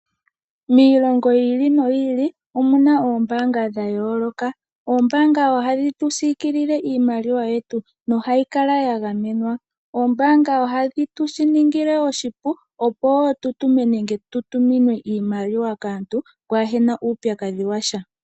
Miilongo yi ili noyi ili omuna oombaanga dha yooloka. Oombaanga ohadhi tu siikilile iimaliwa yetu nohayi kala ya gamenwa. Oombaanga ohadhi tu shi ningile oshipu opo wo tu tumine nenge tu tuminwe iimaliwa kaantu, pwaa hena uupyakadhi washa.